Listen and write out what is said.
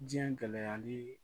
Diɲɛ gɛlɛyali